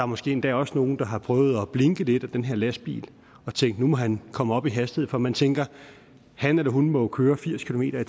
måske endda også nogen der har prøvet at blinke lidt til den her lastbil og tænkt at nu må han komme op i hastighed for man tænker at han eller hun må køre firs kilometer